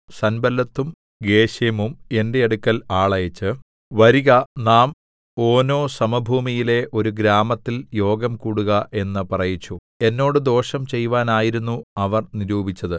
സൻബല്ലത്തും ഗേശെമും എന്റെ അടുക്കൽ ആളയച്ച് വരിക നാം ഓനോസമഭൂമിയിലെ ഒരു ഗ്രാമത്തിൽ യോഗംകൂടുക എന്ന് പറയിച്ചു എന്നോട് ദോഷം ചെയ്‌വാനായിരുന്നു അവർ നിരൂപിച്ചത്